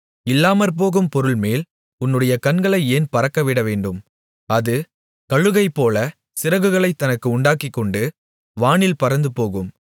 இல்லாமற்போகும் பொருள்மேல் உன்னுடைய கண்களை ஏன் பறக்கவிடவேண்டும் அது கழுகைப்போல சிறகுகளைத் தனக்கு உண்டாக்கிக்கொண்டு வானில் பறந்துபோகும்